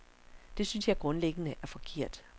Det synes jeg grundlæggende er forkert.